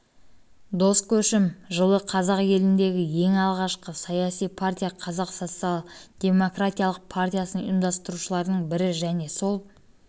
дос көшім жылы қазақ еліндегі ең алғашқы саяси партия қазақ социал-демократиялық партиясын ұйымдастырушылардың бірі және сол